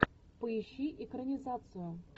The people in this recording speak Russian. поищи экранизацию